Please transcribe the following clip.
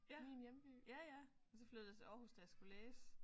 Ja ja ja og så flyttede jeg til Aarhus da jeg skulle læse